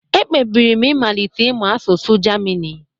Ekpebiri m ịmalite ịmụ asụsụ Germini